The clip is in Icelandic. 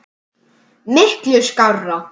Miklu skárra.